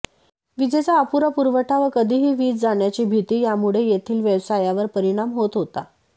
वीजेचा अपुरा पुरवठा व कधीही वीज जाण्याची भिती यामुळे येथील व्यवसायावर परिणाम होत होता